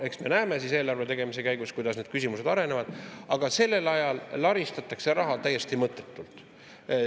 Eks me näeme eelarve tegemise käigus, kuidas need küsimused arenevad, aga sellel ajal laristatakse raha täiesti mõttetult.